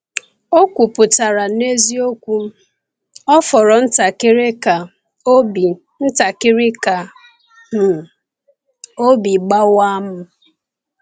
Ọ kwupụtara n’eziokwu: “Ọ fọrọ ntakịrị ka obi ntakịrị ka obi gbawa m.”